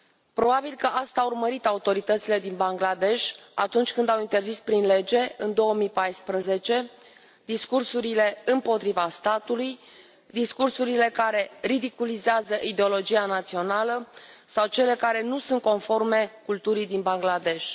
Probabil că asta au urmărit autoritățile din Bangladesh atunci când au interzis prin lege, în 2014, discursurile împotriva statului, discursurile care ridiculizează ideologia națională sau cele care nu sunt conforme culturii din Bangladesh.